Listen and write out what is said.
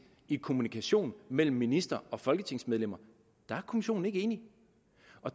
i kommunikationen mellem ministre og folketingsmedlemmer der er kommissionen ikke enige